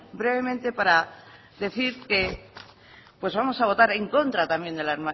brevemente para decir que pues vamos a votar en contra también de la